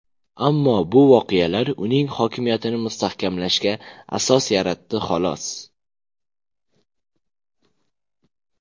Ammo bu voqealar uning hokimiyatini mustahkamlashga asos yaratdi xolos.